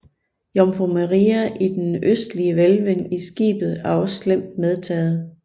Jomfru Maria i den østlige hvælving i skibet er også slemt medtaget